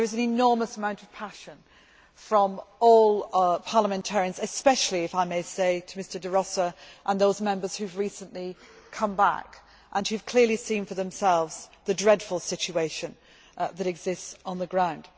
There is an enormous amount of passion from all parliamentarians, especially, if I may say, Mr De Rossa and those Members who have recently come back, and who have clearly seen for themselves the dreadful situation that exists on the ground.